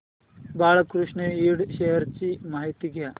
Balkrishna Ind shares ची माहिती द्या